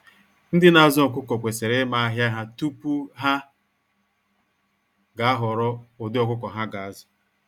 Ndị na azụ ọkụkọ kwesịrị ịma ahịa ha tupu ha ga ahọorọ ụdị ọkụkọ ha ga azụ.